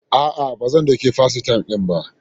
A'a, ba zan ɗauki FaceTime din ba.